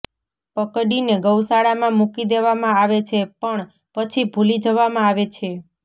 પકડીને ગૌશાળામાં મુકી દેવામાં આવે છે પણ પછી ભુલી જવામાં આવે છે